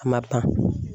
A ma ban